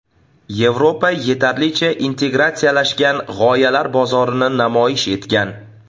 Yevropa yetarlicha integratsiyalashgan g‘oyalar bozorini namoyish etgan.